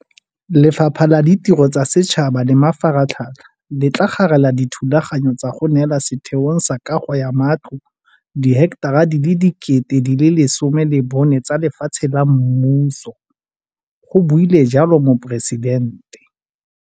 "Lefapha la Ditiro tsa Setšhaba le Mafaratlhatlha le tla garela dithulaganyo tsa go neela Setheong sa Kago ya Matlo diheketara di le 14 000 tsa lefatshe la mmuso," go buile jalo Moporesidente.